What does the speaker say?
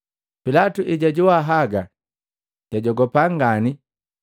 Pilatu ejajoa haga, jajogopa ngani.